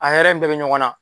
A hɛrɛ in bɛɛ bɛ ɲɔgɔnna